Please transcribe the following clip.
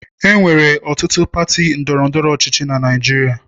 Enwere ọtụtụ pati ndọrọ ndọrọ ọchịchị na Naịjirịa.